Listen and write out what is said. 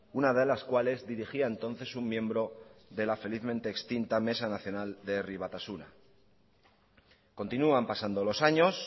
una de las cuales dirigía entonces un miembro de la felizmente extinta mesa nacional de herri batasuna continúan pasando los años